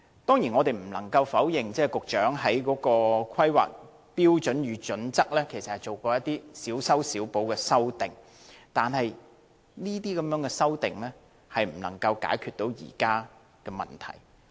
當然，我們不能否認，局長曾就《香港規劃標準與準則》作出一些小修小補，但這些修訂無法解決現時的問題。